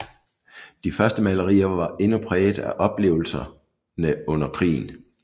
De første malerier var endnu præget af oplevelserne under krigen